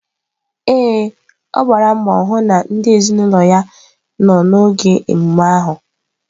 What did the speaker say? Ee, ọ gbara mbọ hụ na ndị ezinụlọ ya nọ n'oge emume ahụ.